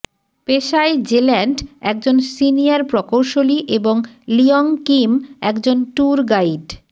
পেশায় জেল্যান্ড একজন সিনিয়র প্রকৌশলী এবং লিয়ঙ কিম একজন ট্যুর গাইড